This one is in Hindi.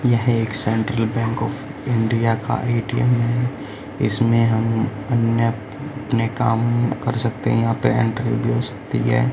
यह एक सेन्ट्रल बैंक ऑफ़ इंडिया का ए_टी_एम है इसमें हम अन्य अपने काम कर सकते है यहां पे एंट्री भी हो सकती है।